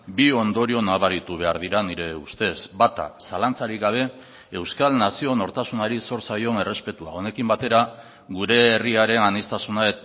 bi ondorio nabaritu behar dira nire ustez bata zalantzarik gabe euskal nazio nortasunari zor zaion errespetua honekin batera gure herriaren aniztasuna